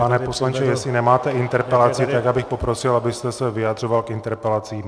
Pane poslanče, jestli nemáte interpelaci, tak bych poprosil, abyste se vyjadřoval k interpelacím.